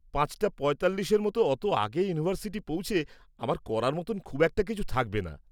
পাঁচটা পঁয়তাল্লিশের মতো অত আগে ইউনিভার্সিটি পৌঁছে আমার করার মতো খুব একটা কিছু থাকবে না।